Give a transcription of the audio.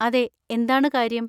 അതെ, എന്താണ് കാര്യം?